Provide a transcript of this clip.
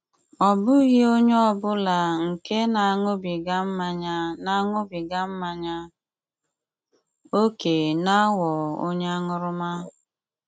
Ọ́ bụ́ghị ònyé ọ́ bụlá nke ná-aṅụ́bígá mmányá ná-aṅụ́bígá mmányá ókè ná-àghọ́ ònyé aṅụ́rụ́mà.